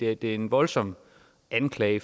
er en voldsom anklage